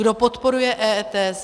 Kdo podporuje EET?